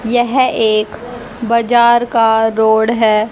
यह एक बाजार का रोड है।